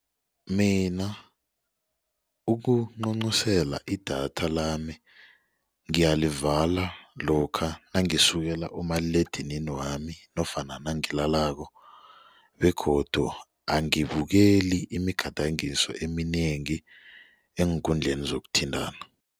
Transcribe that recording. Mina ukuncuncusela idatha lami ngiyalivala lokha nangisukela umaliledinini wami nofana nangilalako begodu angibukeli imigadangiso eminengi eenkundleni zokuthintana.